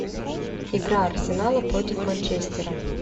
игра арсенала против манчестера